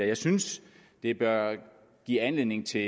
jeg synes det bør give anledning til